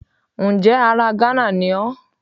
Ǹjẹ́ ara Gánà ni ó